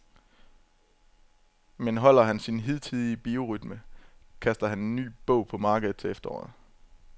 Men holder han sin hidtidige biorytme, kaster han en ny bog på markedet til efteråret.